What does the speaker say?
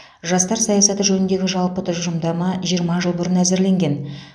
жастар саясаты жөніндегі жалпы тұжырымдама жиырма жыл бұрын әзірленген